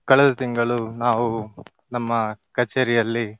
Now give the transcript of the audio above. ಕಳೆದ ತಿಂಗಳು ನಾವು ನಮ್ಮ ಕಛೇರಿಯಲ್ಲಿ.